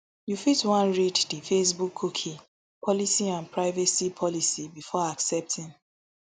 you fit wan read di facebook cookie policy and privacy policy before accepting